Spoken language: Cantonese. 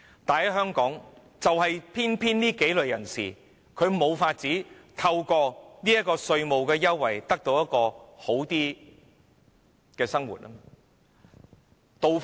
但是，在香港，我提及的幾類人士偏偏無法透過稅務優惠得到較好的生活。